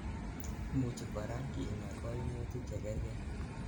imuchi korak inyaa koimutik chekergei